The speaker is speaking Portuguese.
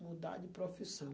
Mudar de profissão.